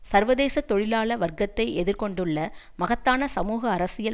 சர்வதேச தொழிலாள வர்க்கத்தை எதிர் கொண்டுள்ள மகத்தான சமூக அரசியல்